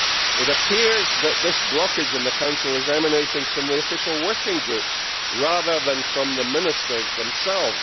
It appears that this blockage in the Council is emanating from the official working groups, rather than from the Ministers themselves.